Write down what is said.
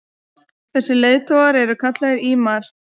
þessir leiðtogar eru kallaðir ímamar